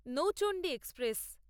Nauchandi express